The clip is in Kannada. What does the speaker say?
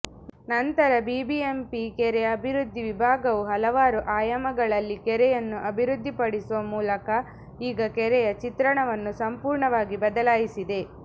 ನಂತರ ಬಿಬಿಎಂಪಿ ಕೆರೆ ಅಭಿವೃದ್ಧಿ ವಿಭಾಗವು ಹಲವಾರು ಆಯಾಮಗಳಲ್ಲಿ ಕೆರೆಯನ್ನು ಅಭಿವೃದ್ಧಿಪಡಿಸುವ ಮೂಲಕ ಈಗ ಕೆರೆಯ ಚಿತ್ರಣವನ್ನು ಸಂಪೂರ್ಣವಾಗಿ ಬದಲಾಯಿಸಿದೆ